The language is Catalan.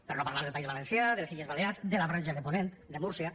per no parlar del país valencià de les illes balears de la franja de ponent de múrcia